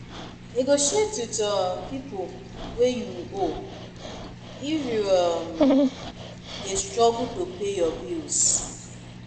Negotiate wit um pipo wey you owe, if you um dey struggle to pay your bills